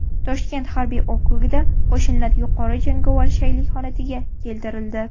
Toshkent harbiy okrugida qo‘shinlar yuqori jangovar shaylik holatiga keltirildi .